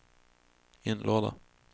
inlåda